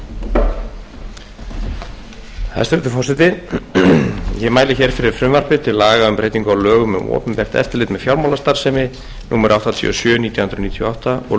ég mæli hér fyrir frumvarpi til laga um breytingu á lögum um opinbert eftirlit með fjármálastarfsemi númer áttatíu og sjö nítján hundruð níutíu og átta og